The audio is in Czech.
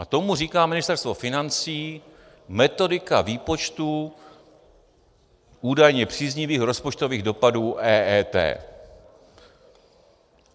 A tomu říká Ministerstvo financí metodika výpočtů údajně příznivých rozpočtových dopadů EET.